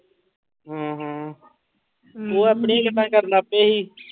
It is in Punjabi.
ਹਾਂ ਹਾਂ, ਉਹ ਆਪਣੀਆਂ ਹੀ ਗੱਲਾਂ ਕਰਨ ਲੱਗ ਪਏ ਸੀ।